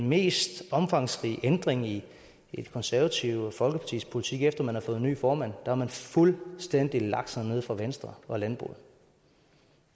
mest omfangsrige ændring i det konservative folkepartis politik efter at man har fået ny formand har man fuldstændig lagt sig ned for venstre og landbruget